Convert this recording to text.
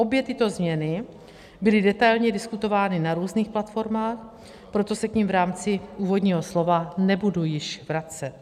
Obě tyto změny byly detailně diskutovány na různých platformách, proto se k nim v rámci úvodního slova nebudu již vracet.